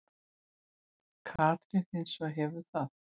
Katrín hins vegar hefur það.